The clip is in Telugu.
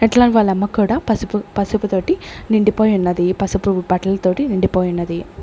అట్లనే వాళ్ళ అమ్మ కూడా పసుపు పసుపు తోటి నిండిపోయి ఉన్నది పసుపు బట్టల తోటి నిండిపోయి ఉన్నది.